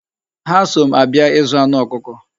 Ha so m abia ịzụ anụ ọkụkọ.